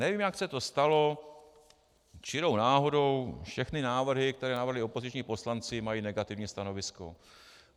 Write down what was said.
Nevím, jak se to stalo, čirou náhodou všechny návrhy, které navrhli opoziční poslanci, mají negativní stanovisko.